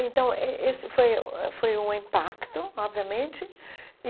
Então, eh eh esse foi o foi um impacto, obviamente e.